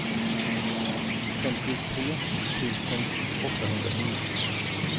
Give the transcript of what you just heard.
femtiotre tusen åttahundratjugonio